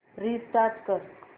restart कर